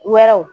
Wɛrɛw